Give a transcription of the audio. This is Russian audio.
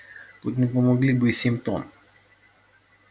тут не помогли бы и семь тонн